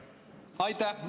Aitäh!